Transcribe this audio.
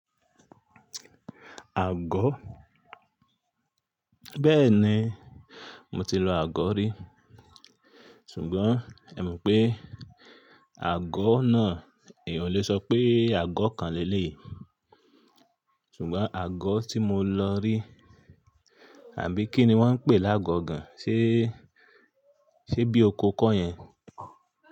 Àgọ́ Bẹ́ẹ̀ni, mo ti lọ àgọ́ rí, ṣùgbọ́n ẹma pé àgọ́ náà, èèyàn o lè sọ pé àgọ́ kan le lèyí. Ṣùgbọ́n àgọ́ tí mo lọ rí, àbí kí ni wọ́n ń pè lágo gan-an? Ṣé, ṣe bí okò ko yẹn?